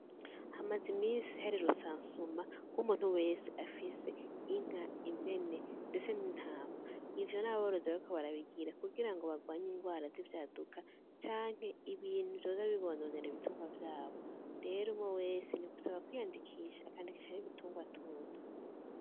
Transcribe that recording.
Hamaze imisi hari rusansuma rw'muntu wese afise inka, impene ndetse n'intama, ivyo n'aborozi bariko barabigira kugira ngo bagwanye ingwara z'ivyaduka canke ibintu vyoza bibononera ibitungwa vyabo, rero umwe wese ni gusaba kwiyandikisha akandika n'ibitungwa atunze.